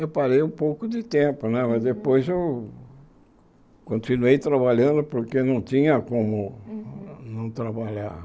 Eu parei um pouco de tempo né, mas depois eu continuei trabalhando porque não tinha como não trabalhar.